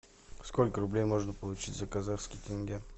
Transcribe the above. сколько рублей можно получить за казахский тенге